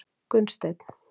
Gunnsteinn